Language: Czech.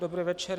Dobrý večer.